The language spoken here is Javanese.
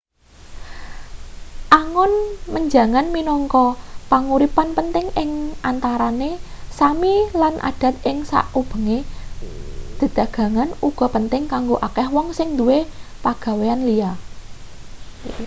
angon menjangan minangka panguripan penting ing antarane sámi lan adat ing sakubenge dedagangan uga penting kanggo akeh wong sing duwe pagawean liya